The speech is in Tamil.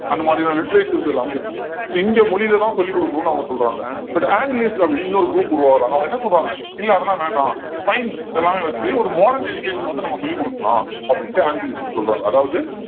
அந்த மாதிரியான literatures எல்லாமே இருக்கும் so இந்திய மொழியிலதான் சொல்லிக் கொடுக்கணும்னு அவங்க சொல்றாங்க but anglist அப்படின்னு இன்னொரு group உருவாகுறாங்க அவங்க என்ன சொல்றாங்க இல்லை அதெல்லாம் வேண்டாம் science எல்லாமே வச்சு ஒரு modern education வந்து நம்ம சொல்லிக் கொடுக்கலாம் அப்படின்னுட்டு anglist சொல்றாங்க அதாவது